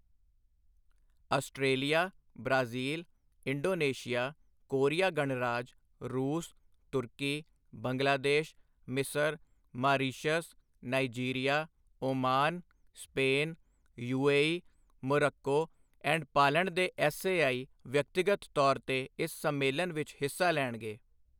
Australia, Brazil, Indonesia, Korea ਗਣਰਾਜ, ਰੂਸ, ਤੂਰਕੀ, ਬੰਗਲਾ ਦੇਸ਼, ਮਿਸਰ, Mauritius, Nigeria, Oman, Spain, UAE, Morocco and Poland ਦੇ ਐੱਸਏਆਈ ਵਿਅਕਤੀਗਤ ਤੌਰ ਤੇ ਇਸ ਸੰਮੇਲਨ ਵਿੱਚ ਹਿੱਸਾ ਲੈਣਗੇ।